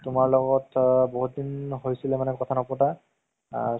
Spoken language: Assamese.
তুমাৰ লগত আ বহুত দিন হৈছিলে মানে কথা নপতাৰ আ